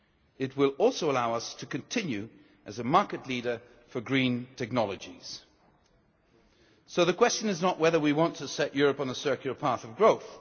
It will also allow us to continue as a market leader for green technologies. So the question is not whether we want to set Europe on a circular path of growth.